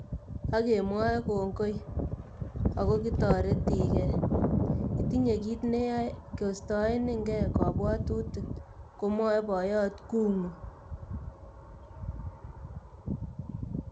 Ak kemwoe kongoi... ako kitoretige, itinye kit ne yae koistaenenke kabwotutik," komwoe boyot Kung'u.